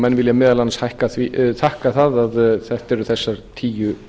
menn vilja meðal annars þakka það að þetta eru þessar tíu